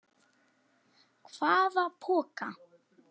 Hvaða poka?